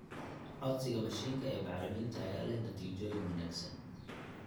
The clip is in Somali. Codsiga mashiinka ee bacriminta ayaa leh natiijooyin wanaagsan.